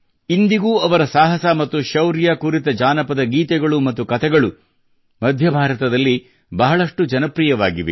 ಇಂದಿಗೂ ಅವರ ಸಾಹಸ ಮತ್ತು ಶೌರ್ಯ ಕುರಿತ ಜಾನಪದ ಗೀತೆಗಳು ಮತ್ತು ಕತೆಗಳು ಮಧ್ಯ ಭಾರತದಲ್ಲಿ ಬಹಳಷ್ಟು ಜನಪ್ರಿಯವಾಗಿವೆ